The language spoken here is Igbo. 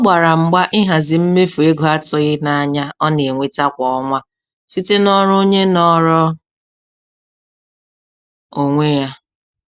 Ọ gbara mgba ịhazi mmefu ego atụghị n'anya ọ na-enweta kwa ọnwa site n'ọrụ onye nọrọ onwe ya.